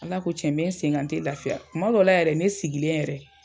Ala ko tiɲɛ n be n sen kan n te lafiya. Tuma dɔw la yɛrɛ ne sigilen yɛrɛ